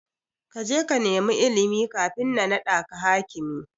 Kaje ka nema ilimi kafin na naɗaka hakimi.